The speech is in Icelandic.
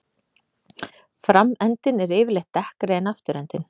Framendinn er yfirleitt dekkri en afturendinn.